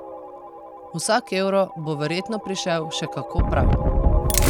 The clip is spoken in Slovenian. Vsak evro bo verjetno prišel še kako prav!